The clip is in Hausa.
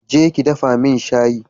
Je ki dafa min shayi